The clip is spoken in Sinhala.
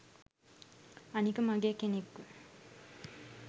අනික මගේ කෙනෙක්ව